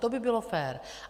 To by bylo fér.